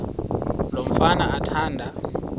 lo mfana athanda